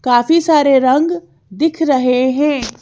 काफी सारे रंग दिख रहे हैं।